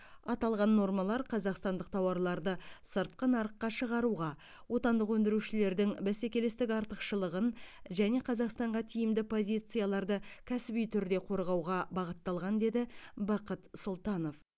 аталған нормалар қазақстандық тауарларды сыртқы нарыққа шығаруға отандық өндірушілердің бәсекелестік артықшылығын және қазақстанға тиімді позицияларды кәсіби түрде қорғауға бағытталған деді бақыт сұлтанов